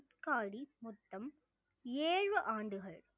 குட்காடி மொத்தம் ஏழு ஆண்டுகள்